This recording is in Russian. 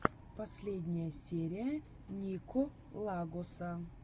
последняя серия нико лагоса